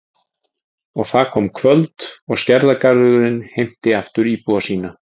Og það kom kvöld og Skerjagarðurinn heimti aftur íbúa sína.